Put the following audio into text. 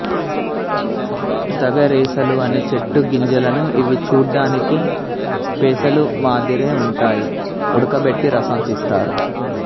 తగరేసల అనే చెట్టు గింజలను ఇవి చూడ్డానికి పెసలు మాదిరే ఉంటాయి ఉడకబెట్టి రసం తీస్తారు